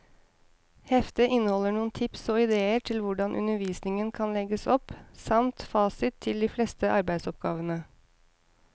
Heftet inneholder noen tips og idéer til hvordan undervisningen kan legges opp, samt fasit til de fleste arbeidsoppgavene.